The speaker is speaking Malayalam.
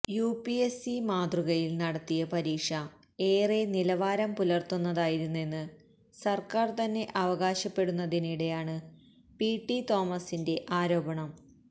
യുപിഎസ്സി മാതൃകയില് നടത്തിയ പരീക്ഷ എറെ നിലവാരം പുലര്ത്തുന്നതായിരുന്നെന്ന് സര്ക്കാര് തന്നെ അവകാശപ്പെടുന്നതിനിടെയാണ് പിടി തോമസിന്റെ ആരോപണം